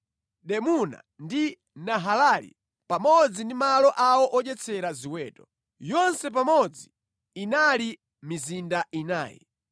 Dimuna ndi Nahalali, pamodzi ndi malo awo odyetsera ziweto. Yonse pamodzi inali mizinda inayi.